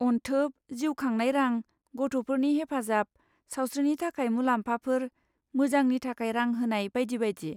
अनथोब, जिउ खांनाय रां, गथ'फोरनि हेफाजाब, सावस्रिनि थाखाय मुलाम्फाफोर, मोजांनि थाखाय रां होनाय बायदि बायदि।